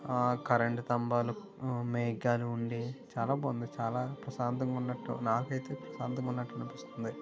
Current తాంబాలు మేఘాలు ఉండే చాలా బాగుంది చాలా ప్రశాంతంగా ఉన్నట్టు నాకైతే ప్రశాంతంగా ఉన్నట్టు అనిపిస్తుంది .